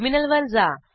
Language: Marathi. टर्मिनल वर जा